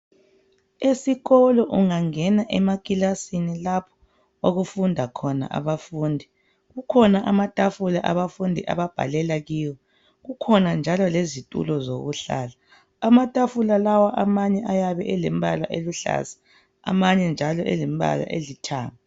Esikolo ungangena ekilasini lapho okufunda khona abafundi kukhona amatafula abafundi ababhalela khona ,kukhona lezitulo ezilomba amnyama amanye elithanga.